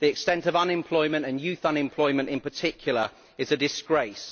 The extent of unemployment and youth unemployment in particular is a disgrace.